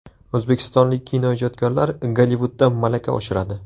O‘zbekistonlik kinoijodkorlar Gollivudda malaka oshiradi.